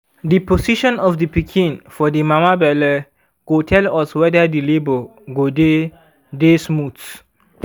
the position of the pikin for the mama belle go tell us weder the labour go dy dy smooth